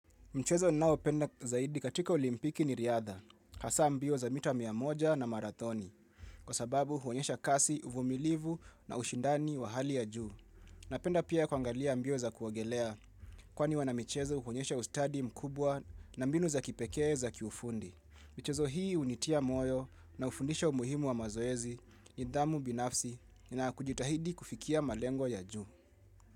Mchezo ninao penda zaidi katika olimpiki ni riadha, hasa mbio za mita mia moja na marathoni, kwa sababu huonyesha kasi, uvumilivu na ushindani wa hali ya juu. Napenda pia kuangalia mbio za kuogelea, kwani wana michezo huonyesha ustadi mkubwa na mbinu za kipekee za kiufundi. Mchezo hii hunitia moyo na ufundisho muhimu wa mazoezi nidhamu binafsi na kujitahidi kufikia malengo ya juu.